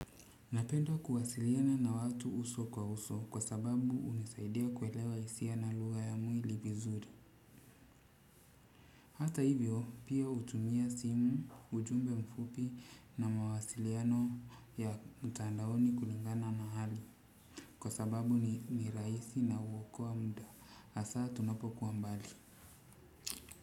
Napendo kuwasiliana na watu uso kwa uso kwa sababu hunisaidia kuelewa hisia na lugha ya mwili vizuri. Hata hivyo pia hutumia simu, ujumbe mfupi na mawasiliano ya mtandaoni kulingana na hali. Kwa sababu ni rahisi na uokoa mda. Hasaa tunapokuwa mbali.